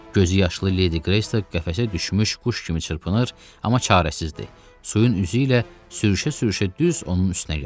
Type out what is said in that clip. Gözüyaşlı Ledi Qreysto qəfəsə düşmüş quş kimi çırpınır, amma çarəsizdir, suyun üzü ilə sürüşə-sürüşə düz onun üstünə gəlir.